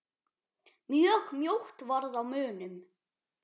Mjög mjótt varð á munum.